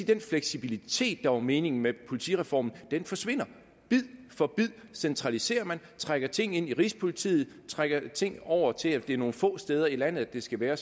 den fleksibilitet der var meningen med politireformen forsvinder bid for bid centraliserer man trækker ting ind i rigspolitiet trækker ting over til at det er nogle få steder i landet det skal være